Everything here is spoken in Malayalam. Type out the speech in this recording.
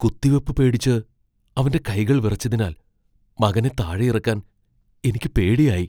കുത്തിവെപ്പ് പേടിച്ച് അവന്റെ കൈകൾ വിറച്ചതിനാൽ മകനെ താഴെയിറക്കാൻ എനിക്ക് പേടിയായി.